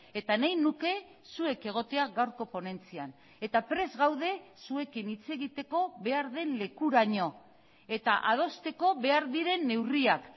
eta nahi nuke zuek egotea gaurko ponentzian eta prest gaude zuekin hitz egiteko behar den lekuraino eta adosteko behar diren neurriak